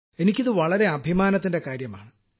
എനിക്ക് ഇത് വളരെ അഭിമാനത്തിന്റെ കാര്യമാണ്